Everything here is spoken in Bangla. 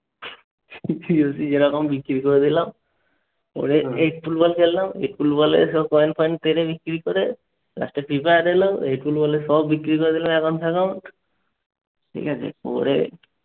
COC এরকম বিক্রি করে দিলাম। পরে eight pool ball খেললাম। eight pool ball এর সব coin ফয়েন বিক্রি করে। last এ FIFA ad এলো। eight pool ball এর সব বিক্রি করে দিলাম account ফেকাউন্ট। ঠিক আছে?